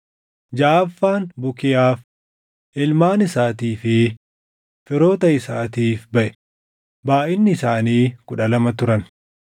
jaʼaffaan Bukiyaaf, // ilmaan isaatii fi firoota isaatiif baʼe; // baayʼinni isaanii kudha lama turan